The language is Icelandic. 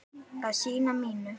að í syni mínum